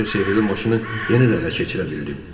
Bəlkə sehrli maşını yenə də ələ keçirə bildim.